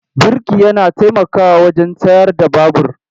Birki yana taimakawa wajen tsayar da babur.